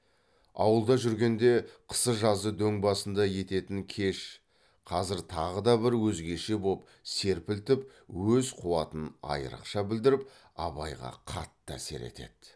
ауылда жүргенде қысы жазы дөң басында ететін кеш қазір тағы да бір өзгеше боп серпілтіп өз қуатын айрықша білдіріп абайға қатты әсер етеді